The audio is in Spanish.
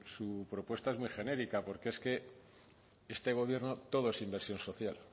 su propuesta es muy genérica porque es que este gobierno todo es inversión social